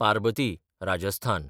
Parbati (Rajasthan)